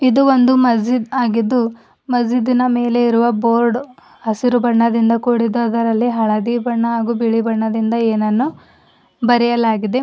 ಇದು ಒಂದು ಮಸ್ಜೀದ್ ಆಗಿದ್ದು ಮಸ್ಜೀದಿನ ಮೇಲೆ ಇರುವ ಬೋರ್ಡ್ ಹಸಿರು ಬಣ್ಣದಿಂದ ಕೂಡಿದ್ದು ಅದರಲ್ಲಿ ಹಳದಿ ಬಣ್ಣ ಹಾಗು ಬಿಳಿ ಬಣ್ಣದಿಂದ ಏನನ್ನೋ ಬರೆಯಲಾಗಿದೆ.